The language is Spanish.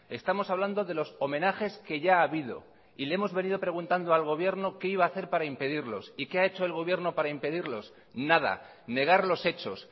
estamos hablando de los homenajes que ya ha habido y le hemos venido preguntando al gobierno qué iba a hacer para impedirlos y qué ha hecho el gobierno para impedirlos nada negar los hechos